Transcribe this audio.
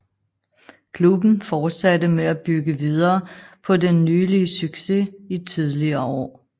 Klubben fortsatte med at bygge videre på den nylige succes i tidligere år